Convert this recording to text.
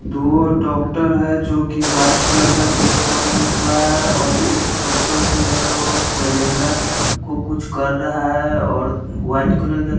दो डॉक्टर है जो की व्हाइट कलर का कोट पहने हुआ है और एक डॉक्टर जो है वो सेलेनडर को कुछ कर रहा है और व्हाइट कलर का--